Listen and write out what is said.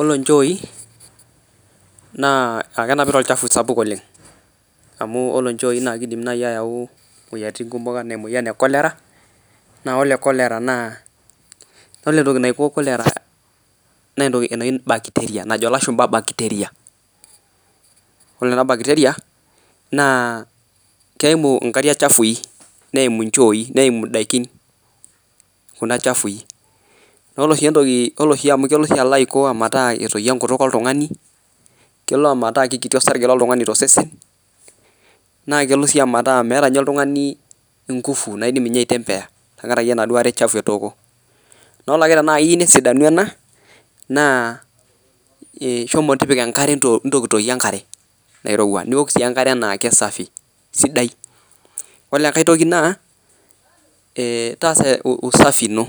Olechooi naa kenepita lchafu sapuk oleng amu kole nchooi naa kedim ayeu moyatiin kumo ana moyan ekolera naa kore kolera naa kore ntoki naiko kolera naa ntoki naji najo lashumba bacteria kore ana backeria naa keimu nkaria chafui neimu nchooi neimu ndakin kuna chafui naakore shii ntoki amu kelo shi ninye aiko metaa ataiyo nkutuk eltungani keloo metaa kekiti sarge loltungani tesesen nakelo sii metaa ninye ltungani nkuvu naidim ninye aitembeya tenkaraki naadei aree chafu atooko kore ake tana iyeu nesidani ana naa shomo tipika nkare ntokitoke nkare nairowa niwok sii nkare nakee safi sidai, kole nkae toki naa taasa usafi ino